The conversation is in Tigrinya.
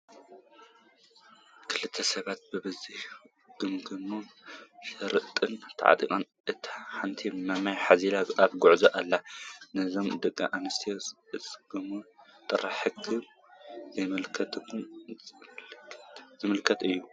ክልተ ሰባት ብዛዛ ተጐምጒመን፣ ሸሪጥ ተዓጢቐን፣ እታ ሓንቲ ማማይ ሓዚላ ኣብ ጉዕዞ ኣለዋ፡፡ ናይዘን ደቂ ኣንስትዮ ኣሰጓጒማ ጥንካረአን ዘመላኽት እዩ፡፡